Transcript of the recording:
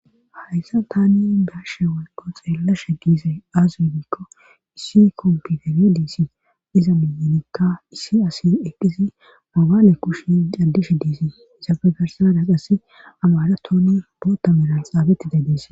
Hayssa tani baashe walqo xeellasha giize aas wudikko issi kompigare diisi iza miyanikka issi asi eqqisi mobaale kushi daddishe diisi isafe garsadaq assi amara toni boota melan xaabeti de dees.